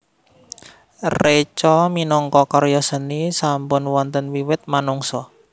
Reca minangka karya seni sampun wonten wiwit manungsa